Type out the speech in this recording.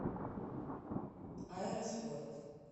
аэроспорт